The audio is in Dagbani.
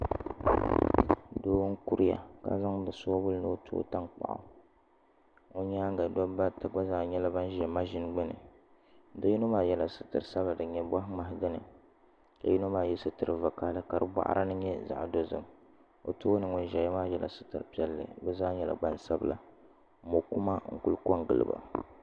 Doo n kuruya ka zaŋdi soobuli ni o tooi tankpaɣu o nyaanga dabba ata gba zaa nyɛla ban ʒɛ maʒini gbuni bi yino maa yɛla liiga sabinli din nyɛ boɣa ŋmahi ka yino maa yɛ sitiri vakaɣali ka di boɣari ni nyɛ zaɣ dozim o tooni ŋun ʒɛya maa yɛla sitiri sabinli bi zaa nyɛla Gbansabila mokuma n ku ko n giliba